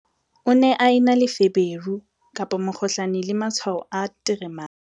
o ne a na le feberu, mokgohlane le matshwao a nteremane